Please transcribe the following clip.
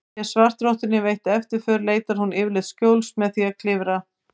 Sé svartrottunni veitt eftirför leitar hún yfirleitt skjóls með því að klifra.